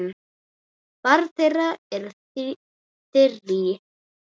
Barn þeirra er Þyrí.